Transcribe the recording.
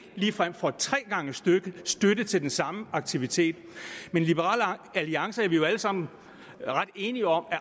ligefrem får tre gange støtte støtte til den samme aktivitet men i liberal alliance er vi jo alle sammen ret enige om at